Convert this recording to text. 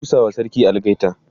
ku busawa sarki algaita!